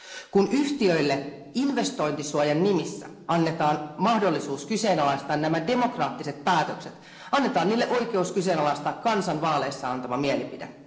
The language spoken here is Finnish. Kun yhtiöille investointisuojan nimissä annetaan mahdollisuus kyseenalaistaa nämä demokraattiset päätökset, annetaan niille oikeus kyseenalaistaa kansan vaaleissa antama mielipide.